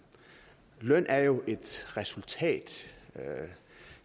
løn er jo et resultat